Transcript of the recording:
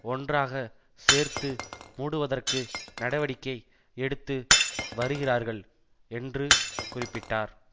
ஒன்றாக சேர்த்து மூடுவதற்கு நடவடிக்கை எடுத்து வருகிறார்கள் என்று குறிப்பிட்டார்